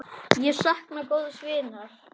Ég sakna góðs vinar.